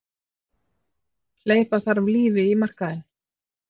Hleypa þarf lífi í markaðinn